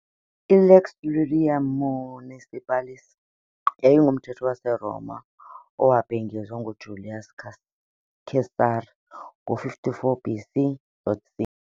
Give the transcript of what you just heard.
I-lex Iulia Municipalis yayingumthetho waseRoma owabhengezwa nguJulius Caesar ngo- 45 BC.C.